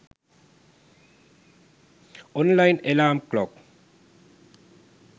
online alarm clock